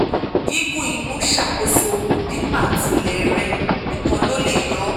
gígùn inú ṣàkóso ìdípatílẹ̀ rè nìkan ló lè yóò o